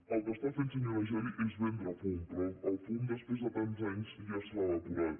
el que està fent senyora geli és vendre fum però el fum després de tants anys ja s’ha evaporat